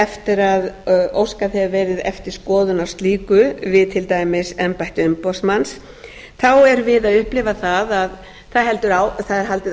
eftir að óskað hefur verið eftir skoðun á slíku við til dæmis embætti umboðsmanns þá erum við að upplifa það að það er haldið